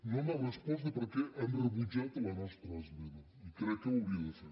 no ha respost per què han rebutjat la nostra esmena i crec que ho hauria de fer